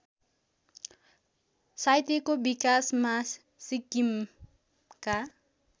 साहित्यको विकासमा सिक्किमका